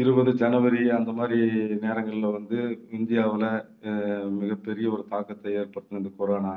இருபது ஜனவரி அந்த மாதிரி நேரங்கள்ல வந்து இந்தியாவுல அஹ் மிகப்பெரிய ஒரு தாக்கத்தை ஏற்படுத்தின இந்த corona